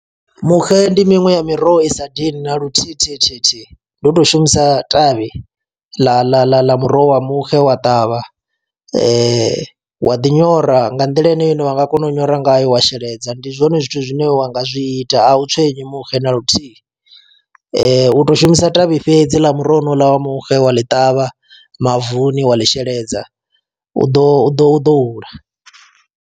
Muxe ndi miṅwe ya miroho i sa dini na luthihi thihi thihi thihi ndi u to shumisa ṱavhi ḽa ḽa ḽa ḽa muroho wa muxe wa ṱavha wa ḓi nyora nga nḓila ine ya ine wa nga kona u nyora ngayo wa sheledza, ndi zwone zwithu zwine wa nga zwi ita a u tswenyi muxe naluthihi, u to shumisa ṱavhi fhedzi ḽa muroho wonouḽa wa muxe wa ḽi ṱavha mavuni wa ḽi sheledza u ḓo ḓo u ḓo hula.